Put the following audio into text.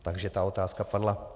Takže ta otázka padla.